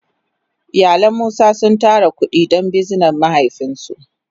Iyalin musa sun tara kudi don bizinan mahaifin su.